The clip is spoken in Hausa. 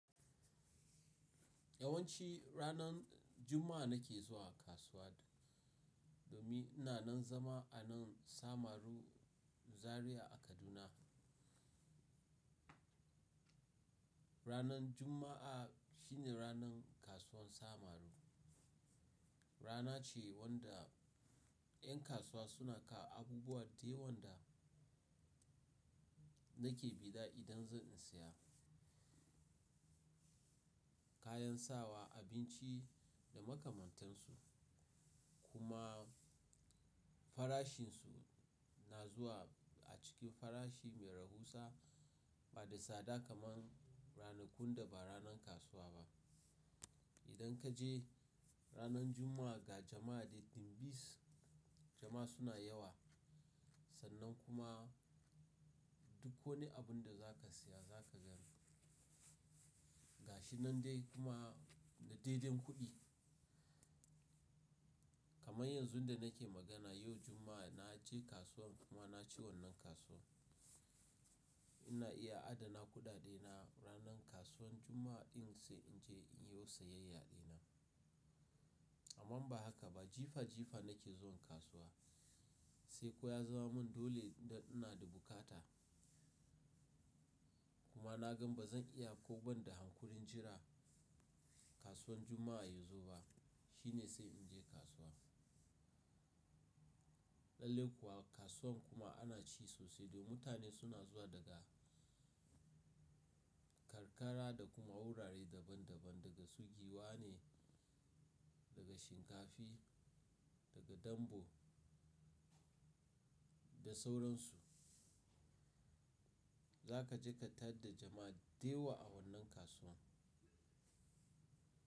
Yawanci ranar Juma'a nake zuwa kasuwa domin ina nan zama a nan Samaru Zaria a Kaduna. Ranar Juma'a shine ranar kasuwan Samaru. Rana ce wanda 'yan kasuwa suna kawo abubuwa da yawan da nake bi da idan zan siya. Kayan sawa, abinci da makamantansu kuma farashinsu, na zuwa a cikin farashi mai rahusa ba da sada kamar ranakun da ba ranar kasuwa ba. Idan kaje ranar Juma'a ga jama'a littin bis jama'a suna yawa sannan kuma duk wani abun da zaka siya zaka gan ga shi nan dai kuma da daidin kuɗi. Kamar yanzun da nake magana yau Juma'a naje kasuwan kuma naci wannan kasuwan. Ina iya adana kuɗaɗe na ranar kasuwan Juma'a din sai inje in yo siyayya ɗina. Amman ba haka ba jifa jifa nake zuwan kasuwa, sai ko ya zama mun dole da ina da bukata kuma na gan ba zan iya ko banda hankulin jira kasuwan Juma'a yazo ba shine sai inje kasuwa. Lalle kuwa kasuwan kuma ana ci sosai da mutane suna zuwa daga karkara da kuma wurare daban daban daga su giwa ne, daga shinkafi, daga dambo da sauransu. Zaka ji ka tare da jama'a dayawa a wannan kasuwan.